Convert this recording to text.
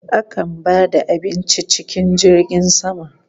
Akan ba da abinci cikin jirgin sama